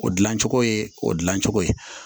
O dilancogo ye o dilancogo ye